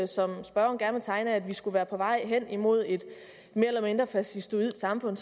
som spørgeren gerne vil tegne af at vi skulle være på vej hen imod et mere eller mindre fascistoidt samfund